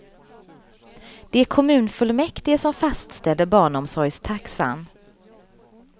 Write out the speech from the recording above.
Det är kommunfullmäktige som fastställer barnomsorgstaxan.